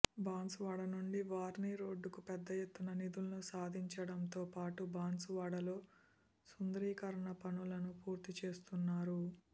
బాన్సువాడ నుండి వర్ని రోడ్డుకు పెద్దఎత్తున నిధులను సాధించడంతో పాటు బాన్సువాడలో సుందరీకరణ పనులను పూర్తి చేయిస్తున్నారు